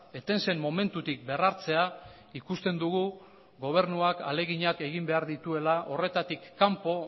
eten zen momentutik berrartzea ikusten dugu gobernuak ahaleginak egin behar dituela horretatik kanpo